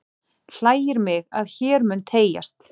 Hlægir mig, að hér mun teygjast